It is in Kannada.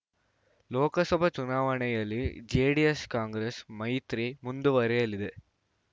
ಲೋಕಸಭಾ ಚುನಾವಣೆಯಲ್ಲಿ ಜೆಡಿಎಸ್‌ಕಾಂಗ್ರೆಸ್‌ ಮೈತ್ರಿ ಮುಂದುವರಿಯಲಿದೆ